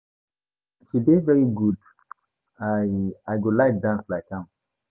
She dey very good I I go like dance like am